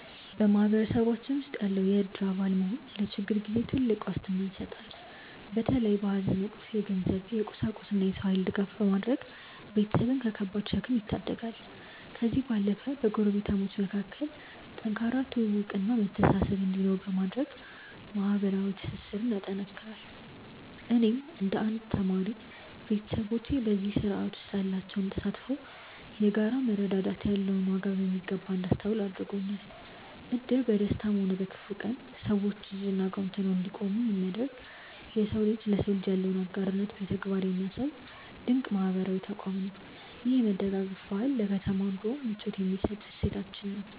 በማህበረሰባችን ውስጥ የእድር አባል መሆን ለችግር ጊዜ ትልቅ ዋስትና ይሰጣል። በተለይ በሐዘን ወቅት የገንዘብ፣ የቁሳቁስና የሰው ኃይል ድጋፍ በማድረግ ቤተሰብን ከከባድ ሸክም ይታደጋል። ከዚህም ባለፈ በጎረቤታሞች መካከል ጠንካራ ትውውቅና መተሳሰብ እንዲኖር በማድረግ ማህበራዊ ትስስርን ያጠናክራል። እኔም እንደ አንድ ተማሪ፣ ቤተሰቦቼ በዚህ ስርዓት ውስጥ ያላቸው ተሳትፎ የጋራ መረዳዳት ያለውን ዋጋ በሚገባ እንዳስተውል አድርጎኛል። እድር በደስታም ሆነ በክፉ ቀን ሰዎች እጅና ጓንት ሆነው እንዲቆሙ የሚያደርግ፣ የሰው ልጅ ለሰው ልጅ ያለውን አጋርነት በተግባር የሚያሳይ ድንቅ ማህበራዊ ተቋም ነው። ይህ የመደጋገፍ ባህል ለከተማ ኑሮ ምቾት የሚሰጥ እሴታችን ነው።